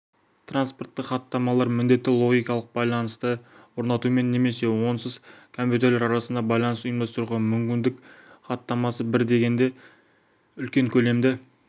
транспортық хаттамалар міндетті логикалық байланысты орнатумен немесе онсыз компьютерлер арасында байланысты ұйымдастыруға мүмкіндік хаттамасы бір дегенде үлкен көлемді